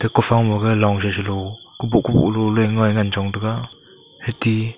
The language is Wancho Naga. kuthow ma ga long sa salow kuboh kuboh lo le ma a ngan chong tega ate--